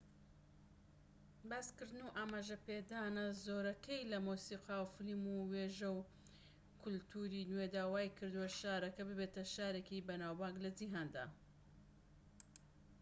باسکردن و ئاماژەپێدانە زۆرەکەی لە مۆسیقا و فلیم و وێژە و کەلتوری نوێدا وایکردووە شارەکە ببێتە شارێکی بەناوبانگ لە جیهاندا